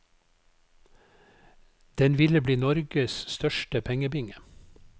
Den ville bli norges største pengebinge.